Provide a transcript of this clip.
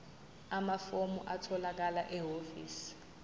amafomu atholakala ehhovisi